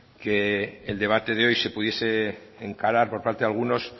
que el debate de hoy se pudiese encarar por parte de algunos